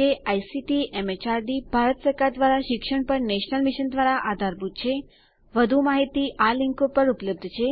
જે આઇસીટીએમએચઆરડીભારત સરકાર દ્વારા શિક્ષણ પર નેશનલ મિશન દ્વારા આધારભૂત છેવધુ માહિતી આના ઉપર ઉપલબ્ધ છે